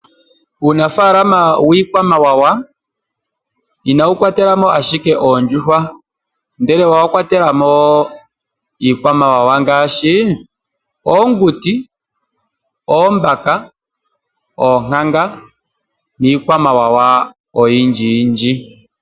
Uunafalama wiikwamawawa inawu kwatela mo ashike oondjuhwa, ndele owa kwatela mo wo iikwamawawa ngaashi oonguti, oombaka, oonkanga niikwamawawa oyindji yindji.